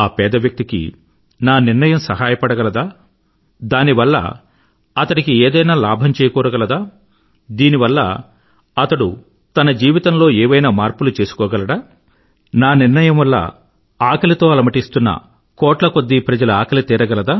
ఆ పేద వ్యక్తికి నా నిర్ణయం సహాయపడగలదా దానివల్ల అతడికి ఏదైనా లాభం చేకూరగలదా దీనివల్ల అతడు తన జీవితమ్లో ఏవైనా మార్పులు చేసుకోగలడా నా నిర్ణయం వల్ల ఆకలితో అలమటిస్తున్న కోట్ల కొద్దీ ప్రజల ఆకలి తీరగలదా